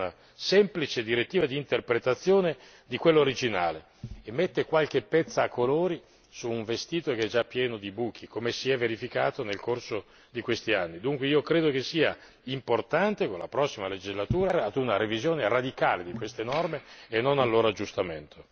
La direttiva proposta dalla Commissione è una semplice direttiva di interpretazione di quella originale e mette qualche pezza a colori su un vestito già pieno di buchi, come si è verificato nel corso di questi anni. Ritengo dunque importante, con la prossima legislatura, arrivare a una revisione radicale di queste norme e non al loro aggiustamento.